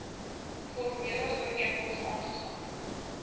formele ooreenkoms aagegaan